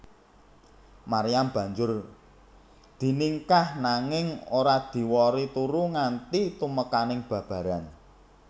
Maryam banjur diningkah nanging ora diwori turu nganti tumekané babaran